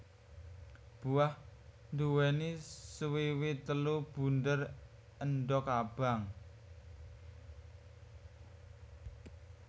Buah nduwèni swiwi telu bunder endog abang